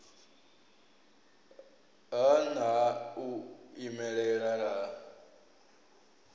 ha nha u imelela ha